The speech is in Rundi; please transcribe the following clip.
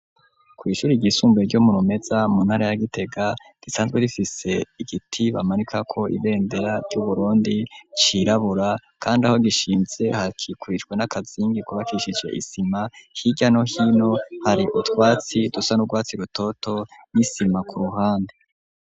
Kw'ishuri ryisumbuye ryo mu Rumeza mu ntara ya Gitega, risanzwe rifise igiti bamanika ko ibendera ry'Uburundi cirabura, kandi aho gishinze hakikurijwe n'akazingi kubakishije isima. Hirya no hino, hari utwatsi dusa n'urwatsi rutoto n'isima k'uruhande.